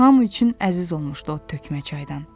Hamı üçün əziz olmuşdu o tökmə çaydan.